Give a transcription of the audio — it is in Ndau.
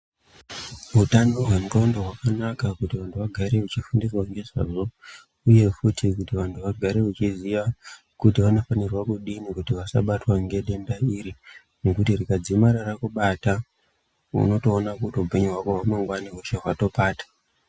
Hutano hwendxondo hwakanana kuti vantu vagare vachifundiswa ngezvazvo, uye futi kuti vantu vagare vachiziya kuti vanofanira kudini vachabatwa ngedenda iri. Nekuti rikadzimara rakubata unotoona kuti hupenyu hwako hwamangwana hweshe hwatopata.